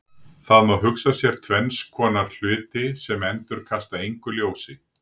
Það má hugsa sér tvenns konar hluti sem endurkasta engu ljósi.